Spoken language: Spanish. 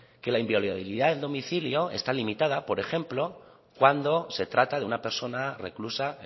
que la inviolabilidad del domicilio está limitada por ejemplo cuando se trata de una persona reclusa